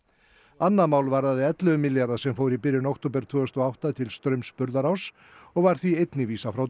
annað mál varðaði ellefu milljarða sem fóru í byrjun október tvö þúsund og átta til Straums Burðaráss og var því einnig vísað frá